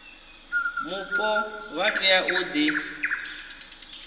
mupo vha tea u ḓi